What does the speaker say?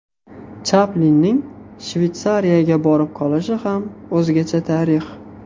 Chaplinning Shveysariyaga borib qolishi ham o‘zgacha tarix.